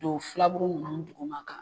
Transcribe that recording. Don filaburu nunnu duguma ka